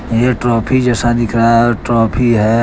यह ट्रॉफी जैसा दिख रहा है और ट्रॉफी है।